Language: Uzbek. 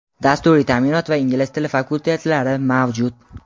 dasturiy taʼminot va ingliz tili fakultetlari mavjud.